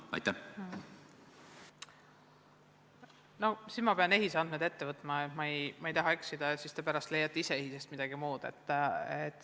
No ma pean siin siis EHIS-e andmed ette võtma, ma ei taha eksida, muidu te leiate ise pärast EHIS-est midagi muud.